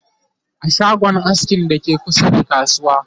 a shagon askin da ke kusa da kasuwa